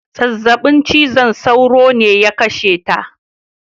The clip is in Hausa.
Zazzaɓin cizon sauro ne ya kashe ta.